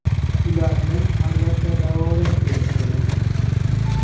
Ularni, albatta, davolash kerak bo‘ladi.